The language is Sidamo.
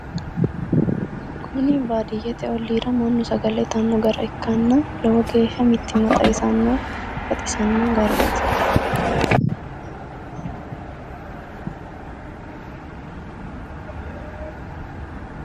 kuni baadiyyete olliira mannu sagale itanno gara ikkanna lowo geeshsha mittimmaxawisanno baxisanno garaati .